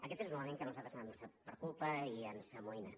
aquest és un element que a nosaltres ens preocupa i ens amoïna